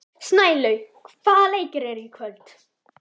Snælaug, hvaða leikir eru í kvöld?